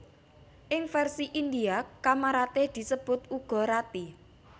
Ing versi Indhia Kamaratih disebut uga Rati